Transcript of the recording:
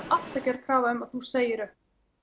alltaf gerð krafa um að þú segir upp